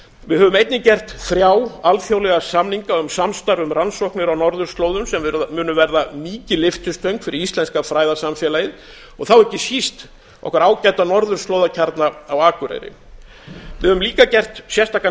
við höfum einnig gert þrjá alþjóðlega samninga um samstarf um rannsóknir á norðurslóðum sem munu verða mikil lyftistöng fyrir íslenska fræðasamfélagið og þá ekki síst okkar ágæta norðurslóðakjarna á akureyri við höfum líka gert sérstakan